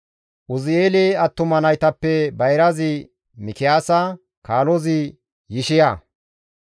Uzi7eele attuma naytappe bayrazi Mikiyaasa, kaalozi Yishiya.